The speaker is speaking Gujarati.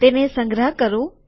તેને સંગ્રહ કરું